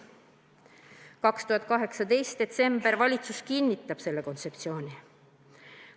2018 detsember – valitsus kinnitab selle kontseptsiooni.